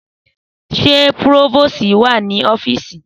Sẹ pirofosí wà ní ọfísì?